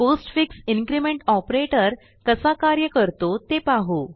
postfix increment operator कसा कार्य करतो ते पाहू